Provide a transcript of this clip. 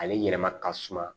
Ale yɛlɛma ka suma